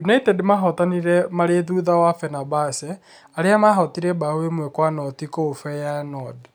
United mahootanire marĩ thutha wa Fenerbahce, arĩa mahootire mbaũ ĩmwe kwa noti kũu Feyenoord.